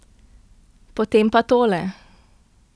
Potem pa tole!